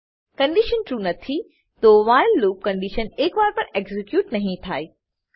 condition true નથીતો while loop condition એક વાર પણ એક્ઝીક્યુટ નહી થાય